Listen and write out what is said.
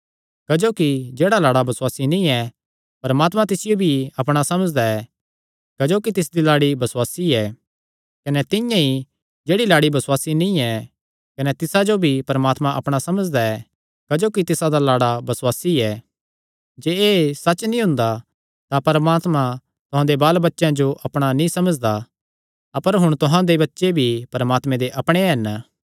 क्जोकि जेह्ड़ा लाड़ा बसुआसी नीं ऐ परमात्मा तिसियो भी अपणा समझदा ऐ क्जोकि तिसदी लाड़ी बसुआसी ऐ कने तिंआं ई जेह्ड़ी लाड़ी बसुआसी नीं ऐ कने तिसा जो भी परमात्मा अपणा समझदा ऐ क्जोकि तिसादा लाड़ा बसुआसी ऐ जे एह़ सच्च नीं हुंदा तां परमात्मा तुहां दे बाल बच्चेयां जो अपणा नीं समझदा अपर हुण तुहां दे बच्चे भी परमात्मे दे अपणे हन